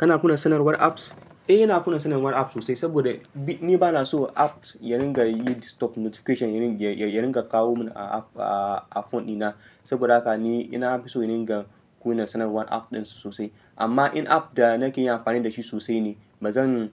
Kana kunna sanarwar apps? Eh ina kunna sanarwar apps sosai saboda ni banason apps yaringa yin distoping notifications irin jei irin yaringa kawomin a phone ɗina saboda haka ni ina fi so ringa ga kunna sanarwar app ɗin sosai. Amma in app da nake yin amfani da shi sosai ne, ba zan